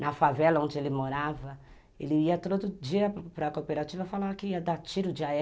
Na favela onde ele morava, ele ia todo dia para a cooperativa falar que ia dar tiro de a erre